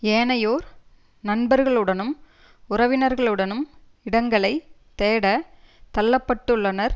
ஏனையோர் நண்பர்களுடனும் உறவினர்களுடனும் இடங்களை தேடத் தள்ள பட்டுள்ளனர்